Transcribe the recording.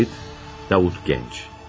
Kayıt Davut Gənc.